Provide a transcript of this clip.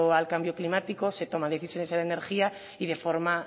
al cambio climático se toman decisiones en la energía y de forma